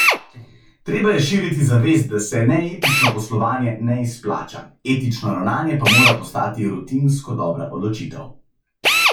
Treba je širiti zavest, da se neetično poslovanje ne izplača, etično ravnanje pa mora postati rutinsko dobra odločitev.